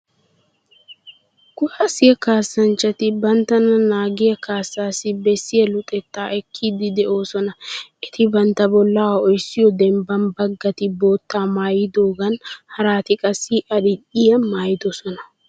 Kuwaasiya kaassanchchati banttana naagiya kaassaassi bessiya luxettaa ekkiiddi de'osona. Eti bantta bollaa ho"issiyo dembban baggati bootta maayiyodiyan haraati qassi adil"iya maayidosona.